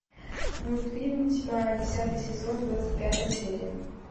мультфильм тьма десятый сезон двадцать пятая серия